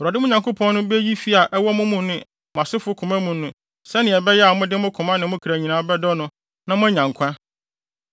Awurade, mo Nyankopɔn no, beyi fi a ɛwɔ mo ne mo asefo koma mu no sɛnea ɛbɛyɛ a mode mo koma ne mo kra nyinaa bɛdɔ no na moanya nkwa.